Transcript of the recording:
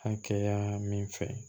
An kɛ yan min fɛ